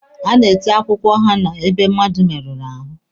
A na-ete akwụkwọ henna ebe mmadụ merụrụ ahụ.